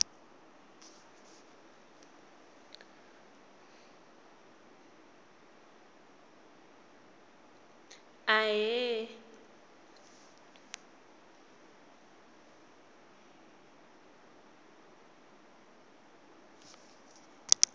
ahee